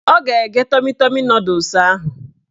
Ọ ga-egge tọmi tọmi nọdụs ahụ